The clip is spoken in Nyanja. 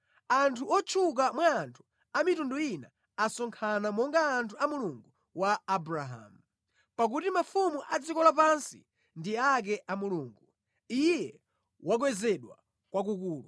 Anthu otchuka mwa anthu a mitundu ina asonkhana monga anthu a Mulungu wa Abrahamu, pakuti mafumu a dziko lapansi ndi ake a Mulungu; Iye wakwezedwa kwakukulu.